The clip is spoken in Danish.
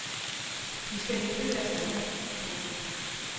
De skal hente deres datter. punktum